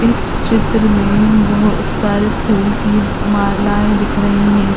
इस चित्र में बोहोत सारे फूल की मालाएं दिख रही हैं।